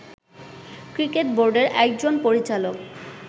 cricket বোর্ডের একজন পরিচালক